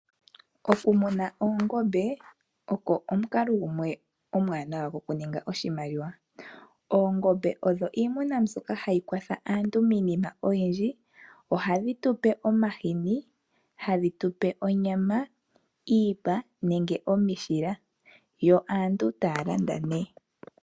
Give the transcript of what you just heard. Okumuna oongombe ogo omukalo omwaanawa okuninga oshimaliwa. Oongombe odho iimuna mbyoka hayi kwatha aantu miinima oyindji. Ohadhi zi omahini, onyama, iipa nenge omishila yo aantu taya landa nduno.